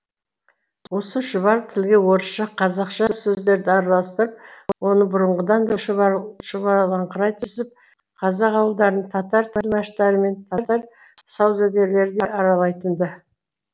осы шұбар тілге орысша қазақша сөздерді араластырып оны бұрынғыдан да шұбарлаңқырай түсіп қазақ ауылдарын татар тілмаштары мен татар саудагерлері де аралайтын ды